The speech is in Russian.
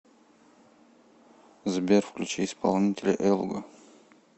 сбер включи исполнителя элго